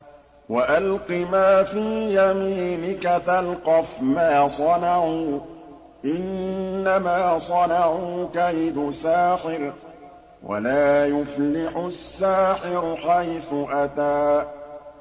وَأَلْقِ مَا فِي يَمِينِكَ تَلْقَفْ مَا صَنَعُوا ۖ إِنَّمَا صَنَعُوا كَيْدُ سَاحِرٍ ۖ وَلَا يُفْلِحُ السَّاحِرُ حَيْثُ أَتَىٰ